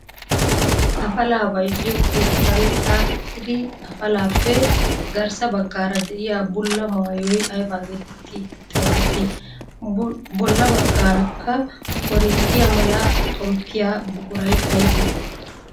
Afalaa bayzziyo keettan xaaxettidi afalaappe garssa baggaara de'iyaa bulla maayoy ayba getetti xeegettii? bolla baggaarakka korinttiyaa mala xonppiyaa buquray aybee?